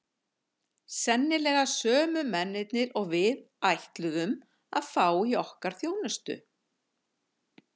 Sennilega sömu mennirnir og við ætluðum að fá í okkar þjónustu!